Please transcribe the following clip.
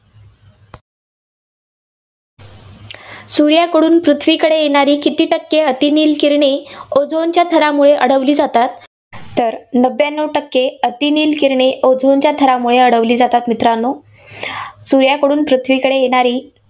सूर्याकडून पृथ्वीकडे येणारी किती टक्के अतिनील किरणे ozone च्या थरामुळे अडवली जातात? तर नव्यानव टक्के अतिनील किरणे ozone च्या थरामुळे अडवली जातात मित्रांनो. सूर्याकडून पृथ्वीकडे येणारी